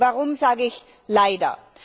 Warum sage ich leider?